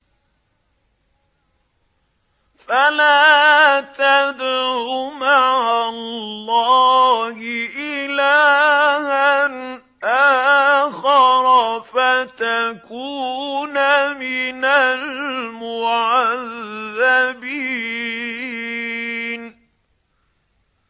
فَلَا تَدْعُ مَعَ اللَّهِ إِلَٰهًا آخَرَ فَتَكُونَ مِنَ الْمُعَذَّبِينَ